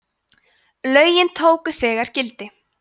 lögin tóku þegar gildi